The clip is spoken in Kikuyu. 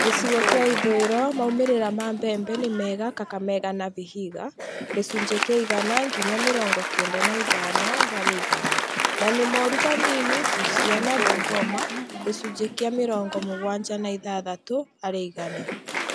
Gĩcigo kĩa ithũũĩro maumĩrĩra ma mbembe nĩ mega Kakamega na Vihiga ( gĩcunjĩ kĩa igana nginya mĩrongo kenda na ithano harĩ igana), na nĩ moru hanini Busia na Bungoma (gĩcunjĩ kĩa mĩrongo mũgwanja na ithathatũ harĩ igana)